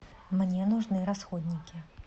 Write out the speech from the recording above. мне нужны расходники